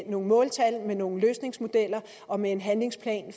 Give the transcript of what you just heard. nogle måltal med nogle løsningsmodeller og med en handlingsplan